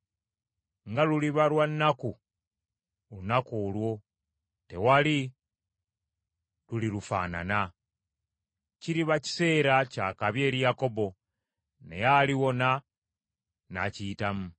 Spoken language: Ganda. Nga luliba lwa nnaku olunaku olwo! Tewali lulirufaanana. Kiriba kiseera kya kabi eri Yakobo, naye aliwona n’akiyitamu.